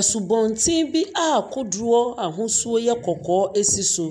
Asubɔnten bi kodoɔ ahosuo yɛ kɔkɔɔ esi so.